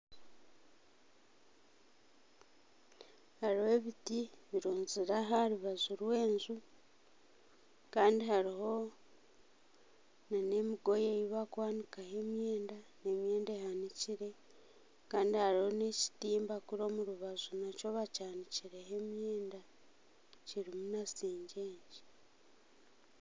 Hariho ebiti burunzire aha rubaju rwenju Kandi hariho nana emigoye eyi bakwanikaho emyenda nemyenda ehanikire Kandi hariho nekitimba kuri omu rubaju nakyo bakyanikireho emyenda kirimu na sengyengye